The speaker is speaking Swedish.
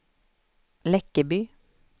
Läckeby